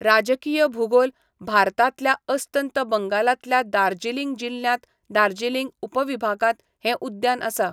राजकीय भूगोल, भारतांतल्या अस्तंत बंगालांतल्या दार्जिलिंग जिल्ह्यांत दार्जिलिंग उपविभागांत हें उद्यान आसा.